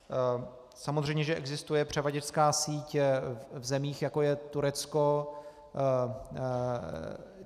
Samozřejmě že existuje převaděčská síť v zemích, jako je Turecko.